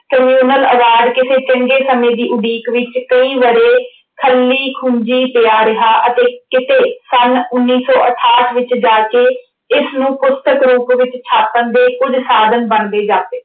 communal ਆਵਾਜ਼ ਕਿਸੇ ਚੰਗੇ ਸਮੇਂ ਦੀ ਉਡੀਕ ਵਿੱਚ ਕਈ ਵਰ੍ਹੇ ਖੱਲੀ-ਖੂੰਜੀ ਪਿਆ ਰਿਹਾ ਅਤੇ ਕਿਤੇ ਸੰਨ ਉਨੀ ਸੌ ਅਠਾਹਠ ਵਿੱਚ ਜਾ ਕੇ ਇਸਨੂੰ ਪੁਸਤਕ ਰੂਪ ਵਿੱਚ ਛਾਪਣ ਦੇ ਕੁੱਝ ਸਾਧਨ ਬਣਦੇ ਜਾਪੇ।